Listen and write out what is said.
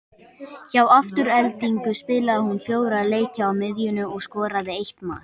Hjá Aftureldingu spilaði hún fjóra leiki á miðjunni og skoraði eitt mark.